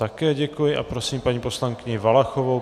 Také děkuji a prosím paní poslankyni Valachovou.